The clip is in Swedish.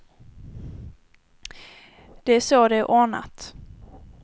Det är så det är ordnat.